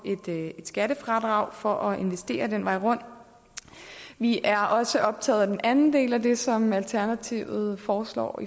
et skattefradrag for at investere den vej rundt vi er også optaget af den anden del af det som alternativet foreslår